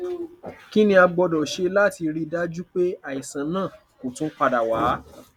kini a gbọdọ ṣe lati rii daju pe aisan naa ko tun pada wa